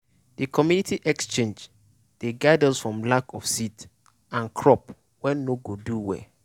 de community exchange dey guide us from lack of seed and crop wey no go do well.